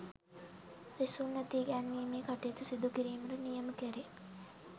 සිසුන් වෙත ඉගැන්වීමේ කටයුතු සිදුකිරීමට නියම කෙරේ